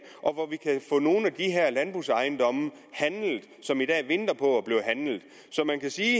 og nogle af de her landbrugsejendomme som i dag venter på at blive handlet man kan sige